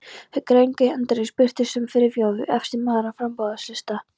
Þegar grein Hendriks birtist, var Friðþjófur efsti maður á framboðslista